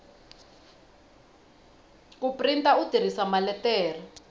ku printa u tirhisa maletere